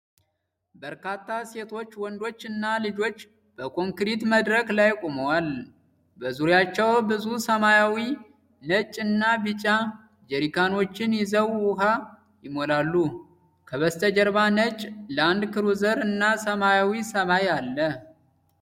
በርካታ ሴቶች፣ ወንዶች እና ልጆች በኮንክሪት መድረክ ላይ ቆመዋል። በዙሪያቸው ብዙ ሰማያዊ፣ ነጭ እና ቢጫ ጀሪካኖችን ይዘው ውሃ ይሞላሉ። ከበስተጀርባ ነጭ ላንድክሩዘር እና ሰማያዊ ሰማይ አለ።